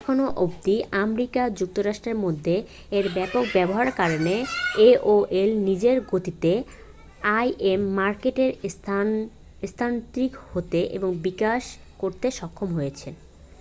এখন অবধি আমেরিকা যুক্তরাষ্ট্রের মধ্যে এর ব্যাপক ব্যবহারের কারণে aol নিজের গতিতে im মার্কেটে স্থানান্তরিত হতে এবং বিকাশ করতে সক্ষম হয়েছে